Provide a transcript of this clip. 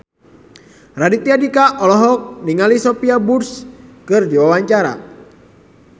Raditya Dika olohok ningali Sophia Bush keur diwawancara